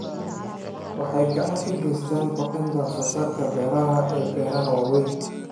Waxay gacan ka geysataa kordhinta wax soo saarka beeraha ee beeraha waaweyn.